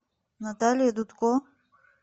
наталья дудко